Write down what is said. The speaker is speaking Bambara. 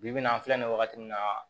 Bi bi in na an filɛ nin wagati min na